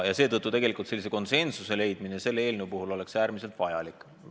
Seetõttu oleks selle eelnõu puhul konsensuse leidmine äärmiselt vajalik.